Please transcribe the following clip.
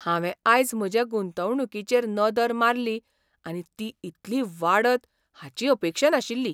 हांवें आयज म्हजे गुंतवणूकीचेर नदर मारली आनी ती इतली वाडत हाची अपेक्षा नाशिल्ली.